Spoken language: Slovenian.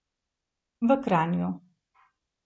V Kranju.